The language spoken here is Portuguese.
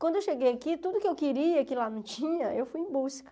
Quando eu cheguei aqui, tudo que eu queria, que lá não tinha, eu fui em busca.